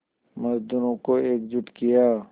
मज़दूरों को एकजुट किया